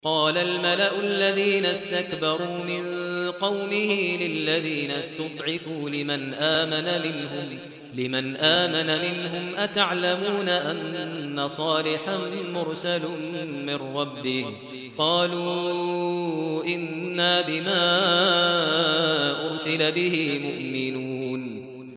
قَالَ الْمَلَأُ الَّذِينَ اسْتَكْبَرُوا مِن قَوْمِهِ لِلَّذِينَ اسْتُضْعِفُوا لِمَنْ آمَنَ مِنْهُمْ أَتَعْلَمُونَ أَنَّ صَالِحًا مُّرْسَلٌ مِّن رَّبِّهِ ۚ قَالُوا إِنَّا بِمَا أُرْسِلَ بِهِ مُؤْمِنُونَ